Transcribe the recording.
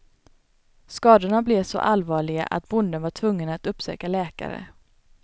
Skadorna blev så allvarliga att bonden var tvungen att uppsöka läkare.